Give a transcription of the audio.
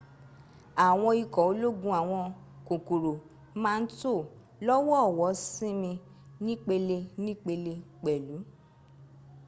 àwọn ikọ̀ ológun àwọn kòkòrò ma ń tó lọ́wọ̀ọ̀wọ́ sinmi nípele nípele pẹ̀lú